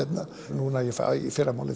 núna í fyrramálið